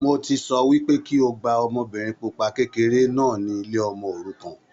Mo ti sọ wípé kí o gba ọmọbìnrin pupa kékeré náà ni ilé ọmọ òrukàn